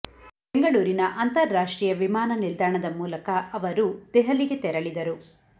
ಬೆಂಗಳೂರಿನ ಅಂತಾರಾಷ್ಟ್ರೀಯ ವಿಮಾನ ನಿಲ್ದಾಣದ ಮೂಲಕ ಅವರು ಅವರು ದೆಹಲಿಗೆ ತೆರಳಿದರು